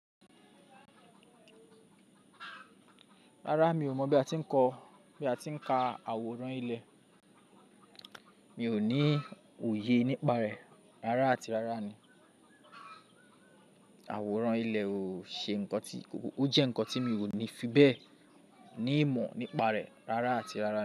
Rárá, mi ò mọ̀ bi a ti n ko, bí a ti ń ka àwòrán ilẹ̀, mi ò ní òye nípa rẹ̀ rárá àti rárá ni. Àwòrán ilẹ̀ ò ṣe ńkan tí, ó jẹ́ ńkan tí mi ò ní fi bẹ́ẹ̀ ní ìmọ̀ nípa rẹ̀ rárá àti rárá.